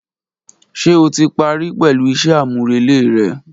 Ṣe o ti pari pẹlu iṣẹ amurele rẹ?.